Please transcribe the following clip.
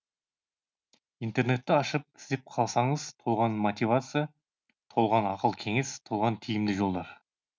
интернетті ашып іздеп қалсаңыз толған мотивация толған ақыл кеңес толған тиімді жолдар